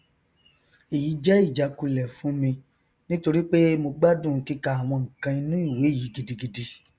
èyí jẹ ìjákulẹ fún mi nítorípé mo gbádùn kíka àwọn nkan inú ìwé yìí gidigidi